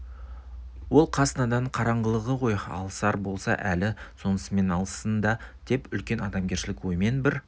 ол қас надан қараңғылығы ғой алысар болса әні сонысымен алыссын да деп үлкен адамгершілік оймен бір